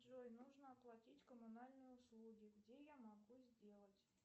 джой нужно оплатить коммунальные услуги где я могу сделать